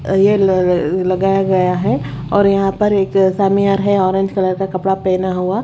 ये लगाया गया है और यहां पर एक सामियार है ऑरेंज कलर का कपड़ा पहना हुआ--